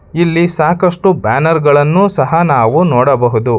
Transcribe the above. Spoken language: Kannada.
ಇಲ್ಲಿ ಸಾಕಷ್ಟು ಬ್ಯಾನರ್ ಗಳನ್ನು ಸಹ ನಾವು ನೋಡಬಹುದು.